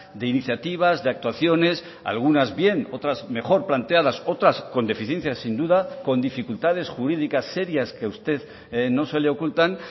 de iniciativas de actuaciones algunas bien otras mejor planteadas otras con deficiencias sin duda con dificultades jurídicas serias que usted no se le ocultan